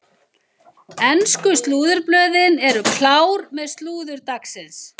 Ensku slúðurblöðin eru klár með slúður dagsins.